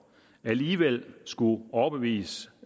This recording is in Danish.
alligevel skulle overbevise